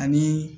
Ani